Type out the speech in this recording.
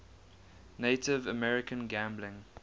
native american gambling